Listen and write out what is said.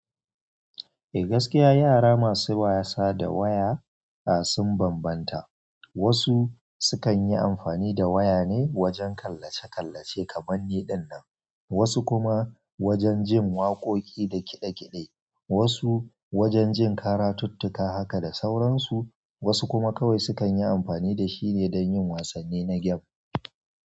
Eh gaskiya yara masu wasa da waya ah sun bambanta. Wasu sukan yi amfani da waya ne wajen kallace-kallace kamar ni ɗinnan, wasu kuma wajen jin waƙoƙi da kiɗe-kiɗe, wasu wajen jin karatuttuka haka da sauran su, wasu kuma kawai sukan yi amfani da shi ne don yin wasanni na gem.